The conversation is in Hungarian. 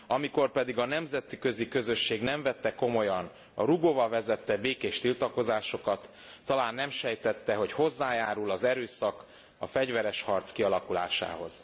Amikor pedig a nemzetközi közösség nem vette komolyan a Rugova vezette békés tiltakozásokat, talán nem sejtette, hogy hozzájárul az erőszak, a fegyveres harc kialakulásához.